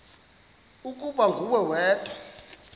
ukuba nguwe wedwa